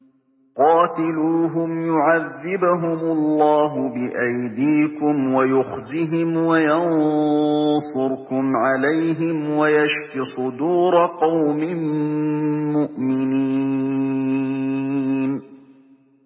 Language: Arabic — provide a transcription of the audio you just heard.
قَاتِلُوهُمْ يُعَذِّبْهُمُ اللَّهُ بِأَيْدِيكُمْ وَيُخْزِهِمْ وَيَنصُرْكُمْ عَلَيْهِمْ وَيَشْفِ صُدُورَ قَوْمٍ مُّؤْمِنِينَ